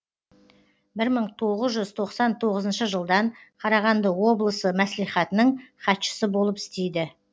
бір мың тоғыз жүз тоқсан тоғызыншы жылдан қарағанды облысы мәслихатының хатшысы болып істейді